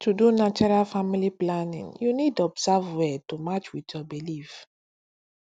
to do natural family planning you need observe well to match with your belief